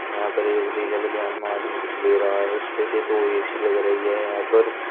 यहां पर एक नीले बनियान में आदमी कुछ ले रहा है उसपे से दो ए_सी लग रही है यहां पर।